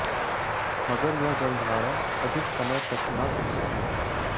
मगर यह जलधारा अधिक समय तक न टिक सकी